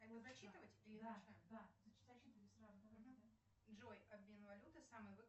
джой обмен валюты самый выгодный